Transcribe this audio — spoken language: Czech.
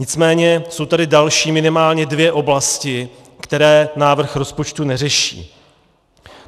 Nicméně jsou tady další minimálně dvě oblasti, které návrh rozpočtu neřeší.